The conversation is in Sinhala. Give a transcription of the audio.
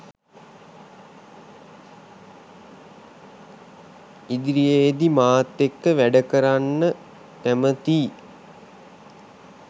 ඉදිරියේදී මාත් එක්ක වැඩ කරන්න කැමතියි